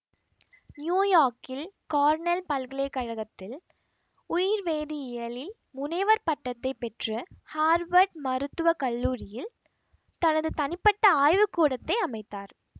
நியூயோர்க்கில் Cornell பல்கலை கழகத்தில் உயிர்வேதியியலில் முனைவர் பட்டத்தை பெற்று ஹார்வர்ட் மருத்துவ கல்லூரியில் தனது தனிப்பட்ட ஆய்வுகூடத்தை அமைத்தார்